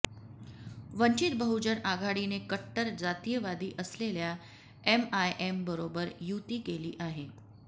वंचित बहुजन आघाडीने कट्टर जातीयवादी असलेल्या एमआयएमबरोबर युती केली आहे